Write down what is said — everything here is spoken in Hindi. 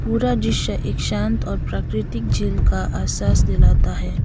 पूरा दृश्य एक शांत और प्राकृतिक झील का एहसास दिलाता है।